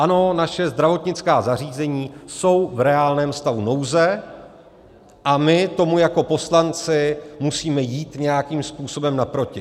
Ano, naše zdravotnická zařízení jsou v reálném stavu nouze a my tomu jako poslanci musíme jít nějakým způsobem naproti.